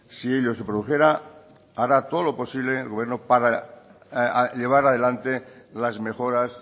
si ello se produjera hará todo lo posible el gobierno para llevar adelante las mejoras